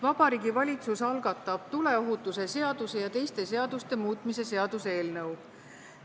Vabariigi Valitsus algatab tuleohutuse seaduse ja teiste seaduste muutmise seaduse eelnõu.